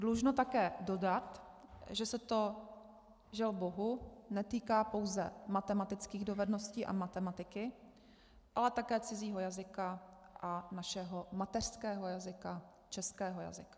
Dlužno také dodat, že se to, žel bohu, netýká pouze matematických dovedností a matematiky, ale také cizího jazyka a našeho mateřského jazyka, českého jazyka.